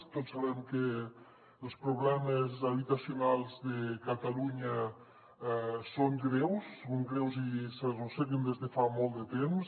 tots sabem que els problemes habitacionals de catalunya són greus són greus i s’arrosseguen des de fa molt de temps